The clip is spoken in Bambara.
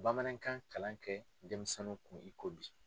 Bamanankan kalan kɛ denmisɛnw kun i ko bi.